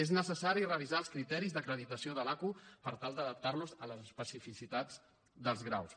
és necessari revisar els criteris d’acreditació de l’aqu per tal d’adaptar los a les especificitats dels graus